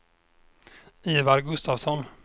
Ivar Gustafsson